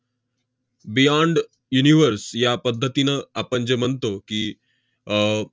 beyond universe या पद्धतीनं आपण जे म्हणतो की, अह